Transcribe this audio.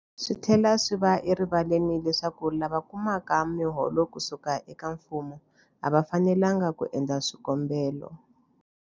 Swi tlhela swi va erivaleni leswaku lava kumaka miholo ku suka eka mfumo a va fanelanga ku endla swikombelo.